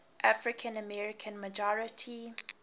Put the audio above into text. african american majority